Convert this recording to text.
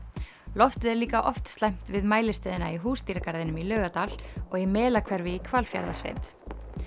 loftið er líka oft slæmt við mælistöðina í Húsdýragarðinum í Laugardal og í Melahverfi í Hvalfjarðarsveit